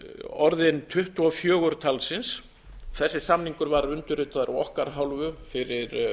orðin tuttugu og fjögur talsins þessi samningur var undirritaður af okkar hálfu fyrir